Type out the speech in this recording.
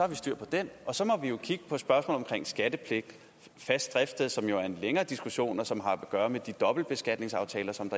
vi styr på den og så må vi kigge på spørgsmål om skattepligt og fast driftssted som jo er en længere diskussion og som har at gøre med de dobbeltbeskatningsaftaler som